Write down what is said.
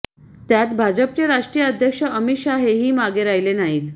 त्यात भाजपचे राष्ट्रीय अध्यक्ष अमित शहा हेही मागे राहिले नाहीत